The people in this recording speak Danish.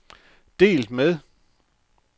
delt med